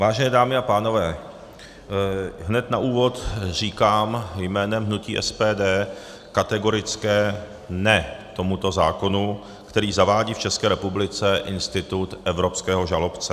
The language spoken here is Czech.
Vážené dámy a pánové, hned na úvod říkám jménem hnutí SPD kategorické ne tomuto zákonu, který zavádí v České republice institut evropského žalobce.